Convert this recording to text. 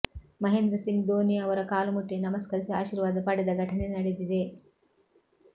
ಮಹೇಂದ್ರ ಸಿಂಗ್ ಧೋನಿ ಅವರ ಕಾಲುಮುಟ್ಟಿ ನಮಸ್ಕರಿಸಿ ಆಶೀರ್ವಾದ ಪಡೆದ ಘಟನೆ ನಡೆದಿದೆ